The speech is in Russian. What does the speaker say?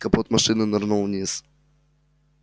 капот машины нырнул вниз